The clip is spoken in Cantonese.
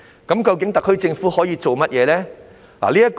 究竟特區政府可以做甚麼？